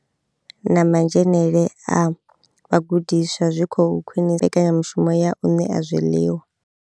Na madzhenele a vhagudiswa zwi khou khwinisa mbekanya mushumo ya u ṋea zwiḽiwa.